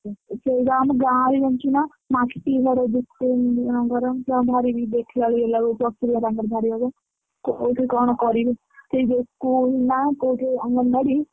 ସେଇବା ଆମ ଗାଁ ରେ ଜାଣିଛୁ ନା ମାଟିଘର କେତେ ତାଙ୍କୁ ଭାରି ଦେଖିଲା ବେଳକୁ ଏଅ ଲାଗୁଛି ଅସୁବିଧା ତାଙ୍କର ଭାରି ହବ silenec କୋଉଠି କଣ କରିବେ ସେଇ ଯୋଉ school ନା ଅଙ୍ଗନବାଡି।